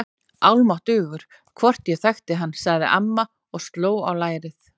Almáttugur, hvort ég þekkti hann sagði amma og sló á lærið.